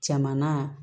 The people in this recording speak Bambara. Caman na